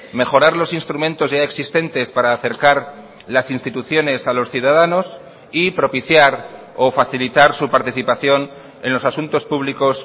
mejorar los instrumentos ya existentes para acercar las instituciones a los ciudadanos y propiciar o facilitar su participación en los asuntos públicos